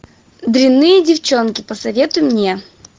дрянные девченки посоветуй мне